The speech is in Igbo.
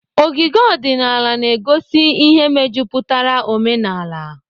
Ogige ọdịnaala na-egosi ihe mejupụtara omenala.